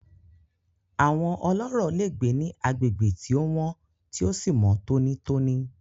Àwọn ọlọ́rọ̀ le gbé ní agbègbè tí o wọ́n tí o sí mọ́ tònítóní.